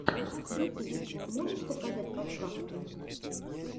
ютуб можешь показать подкасты